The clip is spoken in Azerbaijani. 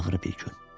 Ağrı bir gün.